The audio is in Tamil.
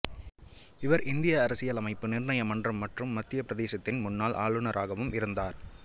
இவர் இந்திய அரசியலமைப்பு நிர்ணய மன்றம் மற்றும் மத்தியப் பிரதேசத்தின் முன்னாள் ஆளுநராகவும் இருந்தார்